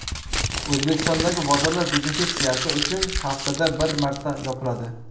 O‘zbekistondagi bozorlar dezinfeksiya uchun haftada bir marta yopiladi.